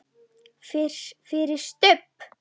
FYRIR STUBB!